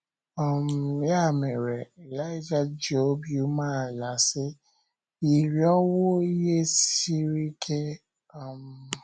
um Ya mere, Ịlaịja ji obi umeala sị: “ Ị rịọwo ihe siri ike". um